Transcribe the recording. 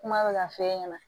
Kuma bɛ ka f'e ɲɛna